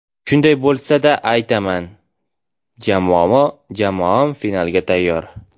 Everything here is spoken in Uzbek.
Shunday bo‘lsa-da, bemalol aytaman: jamoam finalga tayyor.